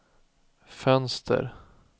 fönster